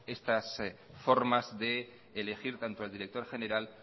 estas formas de elegir tanto al director general